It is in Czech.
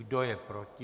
Kdo je proti?